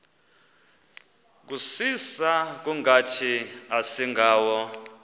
kusisa kungathi asingawo